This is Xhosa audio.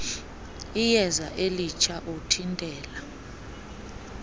iyeza elitsha uthintela